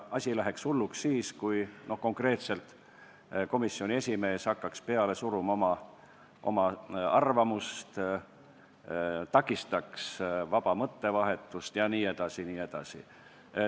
Asi läheks hulluks siis, kui konkreetselt komisjoni esimees hakkaks peale suruma oma arvamust, takistaks vaba mõttevahetust jne.